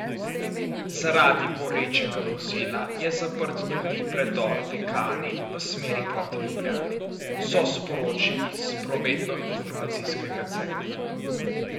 Zaradi gorečega vozila je zaprt tudi predor Dekani v smeri proti Ljubljani, so sporočili s prometnoinformacijskega centra.